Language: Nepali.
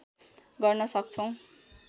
गर्न सक्छौँ